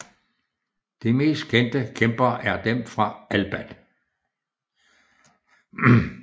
De mest kendte kæmper er dem fra Elban